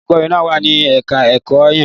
olùkọ́ní wà ní ẹ̀ka-ẹ̀kọ́ yẹn.